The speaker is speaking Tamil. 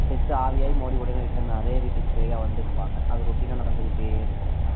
death ஆகி ஆவியாகி அந்த விட்டுக்கு பேயா வந்துட்டே இருப்பாங்க அது routine னா நாந்துகிட்டே இருக்கும்